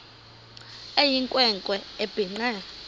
eyinkwe nkwe ebhinqe